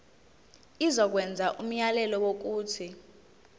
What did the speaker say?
izokwenza umyalelo wokuthi